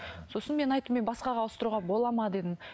сосын мен айттым мен басқаға ауыстыруға болады ма дедім